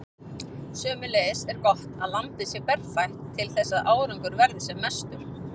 Sömuleiðis er gott að lambið sé berfætt til þess að árangur verði sem mestur.